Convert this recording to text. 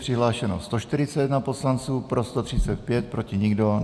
Přihlášeno je 141 poslanců, pro 135, proti nikdo.